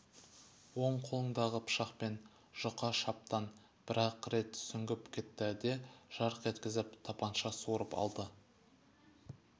оң қолындағы пышақпен жұқа шаптан бір-ақ рет сүңгіп кетті де жарқ еткізіп тапанша суырып алды